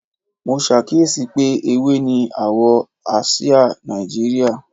Mo ṣàkíyèsí pé ewé ni àwọ̀ àsìá Nàìjíríà